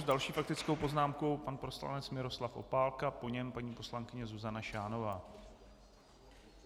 S další faktickou poznámkou pan poslanec Miroslav Opálka, po něm paní poslankyně Zuzana Šánová.